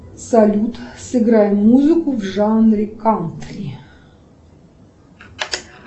салют сыграй музыку в жанре кантри